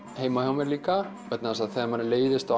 heima hjá mér líka vegna þess að þegar manni leiðist á